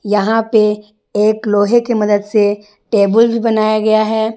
यहां पे एक लोहे की मदद से टेबल भी बनाया गया है।